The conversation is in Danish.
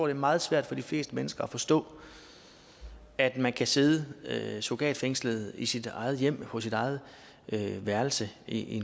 er meget svært for de fleste mennesker at forstå at man kan sidde sidde surrogatfængslet i sit eget hjem på sit eget værelse i